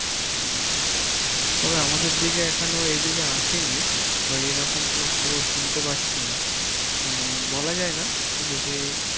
উম হম তবে আমাদের দিকে এখনো এইদিকে আসেনি, বা এইরকম কোন খবর শুনতে পাচ্ছি না, উন বলা যায় না যদি